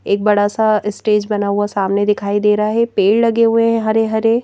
एक बड़ा सा स्टेज बना हुआ सामने दिखाई दे रहा है पेड़ लगे हुए हैं हरे हरे--